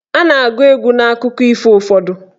A na-agụ egwu n'akụkọ ifo ụfọdụ.